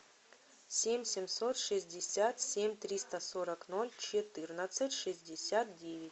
семь семьсот шестьдесят семь триста сорок ноль четырнадцать шестьдесят девять